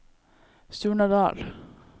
Surnadal